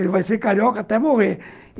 Ele vai ser carioca até morrer.